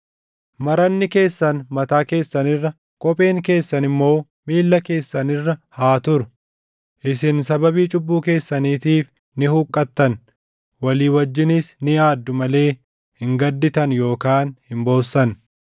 Maranni keessan mataa keessan irra, kopheen keessan immoo miilla keessan irra haa turu. Isin sababii cubbuu keessaniitiif ni huqqattan; walii wajjinis ni aaddu malee hin gadditan yookaan hin boossan.